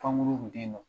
Pankuru kun tɛ yen nɔ